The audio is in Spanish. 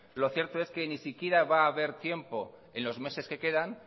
lo cierto es que ni siquiera va haber tiempo en los meses que quedan